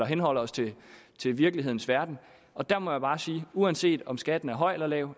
henholder os til til virkelighedens verden og der må jeg bare sige at uanset om skatten er høj eller lav